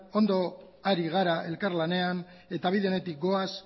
ondo ari gara elkarlanean eta bide onetik goaz